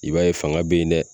I b'a ye fanga be yen nɛ